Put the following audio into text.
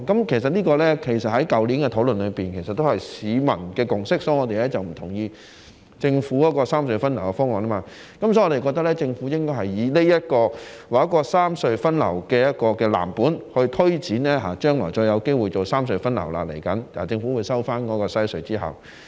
其實，在去年的討論中，這也是市民的共識，所以我們才不同意政府的三隧分流方案，我們認為政府應該以這個三隧分流安排為藍本，推展將來——政府收回西隧之後，未來仍有機會進行三隧分流。